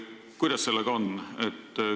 Kuidas sellega on?